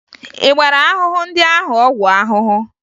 Ị gbara ahụhụ ndị ahụ ọgwụ ahụhụ?